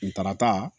Kuntarata